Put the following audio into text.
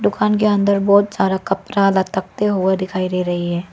दुकान के अंदर बहोत सारा कपड़ा लटकते हुए दिखाई दे रही है।